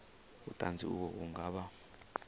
vhuṱanzi uvho vhu nga vha